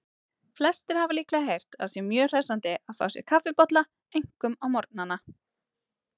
Flestir hafa líklega heyrt að sé mjög hressandi að fá sér kaffibolla, einkum á morgnana.